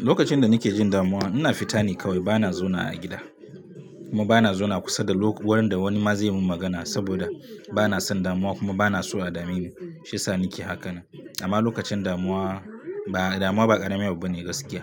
Lokacin da nake jin damuwa, ina fita ni kawai bana zauna a gida kuma bana zauna kusa da wurin da wani ma zai mun magana saboda bana son damuwa kuma bana so a dami ni shiyasa nake hakan. Amma lokacin damuwa, ba damuwa ba ƙarami abu bane gaskiya